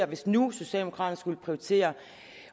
hvis nu socialdemokraterne skulle prioritere